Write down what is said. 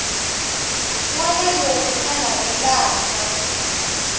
wana loyi a navelaka ku